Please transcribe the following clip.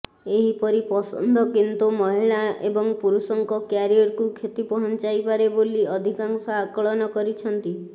ଏହିପରି ପସନ୍ଦ କିନ୍ତୁ ମହିଳା ଏବଂ ପୁରୁଷଙ୍କ କ୍ୟାରିୟରକୁ କ୍ଷତି ପହଞ୍ଚାଇପାରେ ବୋଲି ଅଧିକାଂଶ ଆକଳନ କରିଛନ୍ତି